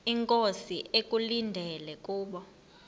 inkosi ekulindele kubo